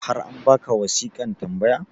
har an baka wasiƙan tambaya?